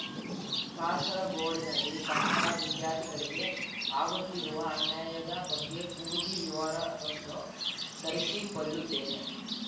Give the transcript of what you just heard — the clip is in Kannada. ಕಾಸರಗೋಡಿನಲ್ಲಿ ಕನ್ನಡ ವಿದ್ಯಾರ್ಥಿಗಳಿಗೆ ಆಗುತ್ತಿರುವ ಅನ್ಯಾಯದ ಬಗ್ಗೆ ಪೂರ್ತಿ ವಿವರವನ್ನು ತರಿಸಿಕೊಳ್ಳುತ್ತೇನೆ